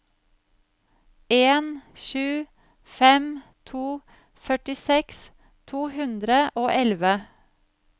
en sju fem to førtiseks to hundre og elleve